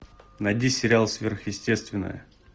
найди сериал сверхъестественное